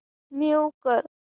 move कर